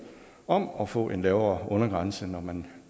om at få en lavere undergrænse når man